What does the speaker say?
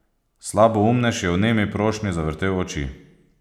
Slaboumnež je v nemi prošnji zavrtel oči.